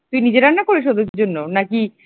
তুই নিজে রান্না করিস ওদের জন্য? নাকি